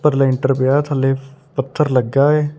ਉਪਰ ਲੈਂਟਰ ਪਿਆ ਥੱਲੇ ਪੱਥਰ ਲੱਗਾ ਏ।